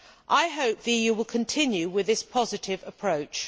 I hope the EU will continue with this positive approach.